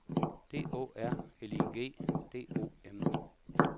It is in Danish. D Å R L I G D O M